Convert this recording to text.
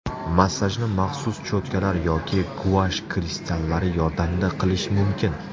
Massajni maxsus cho‘tkalar yoki guash kristallari yordamida qilish mumkin.